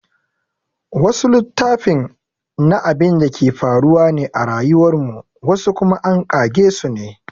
Wasu littafin na abinda ke faruwa ne a rayuwar mu wasu kuma an ƙage sune